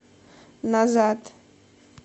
назад